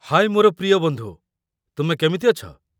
ହାଏ ମୋର ପ୍ରିୟ ବନ୍ଧୁ, ତୁମେ କେମିତି ଅଛ?